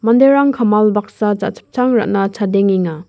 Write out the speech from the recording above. kamal baksa jachipchang ra·na chadengenga.